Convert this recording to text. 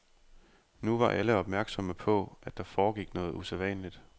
Nu var alle opmærksomme på, at der foregik noget usædvanligt.